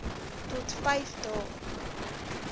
tot vyf dae